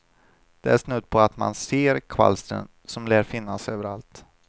Det är snudd på att man ser kvalstren som lär finnas överallt.